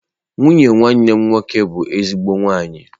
Nwunye nwanne m nwoke bu ezigbo nwanyi.